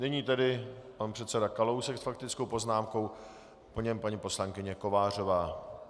Nyní tedy pan předseda Kalousek s faktickou poznámkou, po něm paní poslankyně Kovářová.